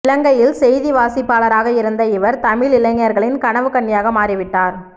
இலங்கையில் செய்திவாசிப்பாளராக இருந்த இவர் தமிழ் இளைஞர்களின் கனவுக்கன்னியாக மாறிவிட்டார்